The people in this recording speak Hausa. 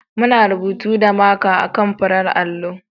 Muna rubutu da marka a kan farar allo.